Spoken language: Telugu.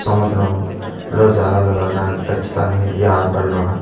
సముద్రం లో జాలర్లు వెళ్ళడానికి ఖచ్చితంగా ఈ ఆల్పరిలోన--